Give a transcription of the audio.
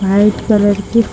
white colour की --